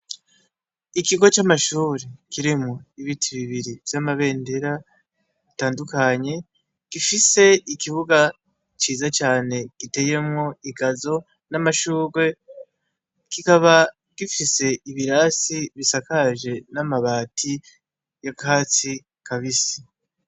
Ikigo c'amashuri kirimwo ibiti bibiri vy'amabendera itandukanye gifise ikibuga ciza cane giteyemwo igazo n'amashurwe kikaba gifise ibirasi bisakaje n'amabati ya katsi ka bisi.